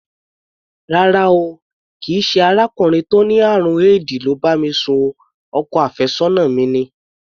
Rárá o, kì í ṣe arákùnrin tó ní àrùn éèdì ló bá mi sùn o, ọkọ àfẹ́sọ́nà mi ni.